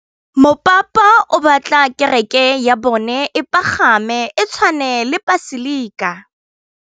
Mopapa o batla kereke ya bone e pagame, e tshwane le paselika.